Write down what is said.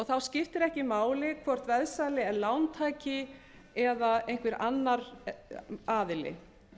þá skiptir ekki máli hvort veðsali er lántaki eða einhver annar aðili